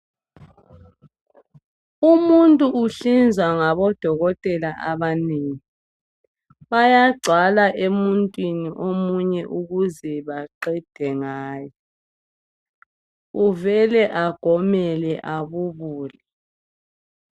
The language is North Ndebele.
Umuntu uhlinzwa ngabodokotela abanengi. Bayagcwala emuntwini omunye ukuze baqede ngaye. Uvele agomele abubule